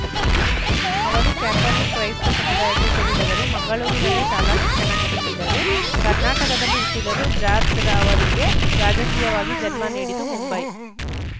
ಅವರು ಕ್ಯಾಥೋಲಿಕ್‌ ಕ್ರೈಸ್ತ ಸಮುದಾಯಕ್ಕೆ ಸೇರಿದವರು ಮಂಗಳೂರಿನಲ್ಲೇ ಶಾಲಾ ಶಿಕ್ಷಣ ಮುಗಿಸಿದರು ಕರ್ನಾಟಕದಲ್ಲಿ ಹುಟ್ಟಿದರೂ ಜಾಜ್‌ರ ಅವರಿಗೆ ರಾಜಕೀಯವಾಗಿ ಜನ್ಮ ನೀಡಿದ್ದು ಮುಂಬೈ